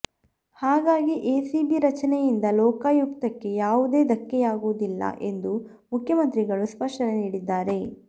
ಹಾಗಾಗಿ ಎಸಿಬಿ ರಚನೆಯಿಂದ ಲೋಕಾಯುಕ್ತಕ್ಕೆ ಯಾವುದೇ ಧಕ್ಕೆಯಾಗುವುದಿಲ್ಲ ಎಂದು ಮುಖ್ಯಮಂತ್ರಿಗಳು ಸ್ಪಷ್ಟನೆ ನೀಡಿದ್ದಾರೆ